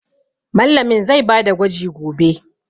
Mallamin zai ba da gwaji gobe.